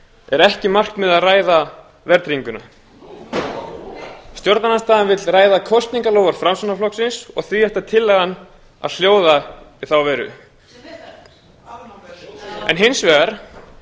er ekki markmiðið að ræða verðtrygginguna stjórnarandstaðan vill ræða kosningaloforð framsóknarflokksins og því ætti tillagan að hljóða í þá veru en hins vegar